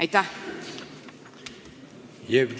Aitäh!